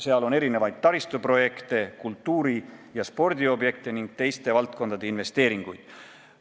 Seal on erinevaid taristuprojekte, kultuuri- ja spordiobjekte ning teiste valdkondade investeeringuid.